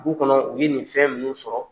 Dugu kɔnɔ u ye nin fɛn minnu sɔrɔ.